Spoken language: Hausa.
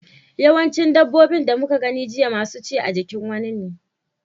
Yawancin dabbobin da muka gani jiya masu ci a jikin wani ne.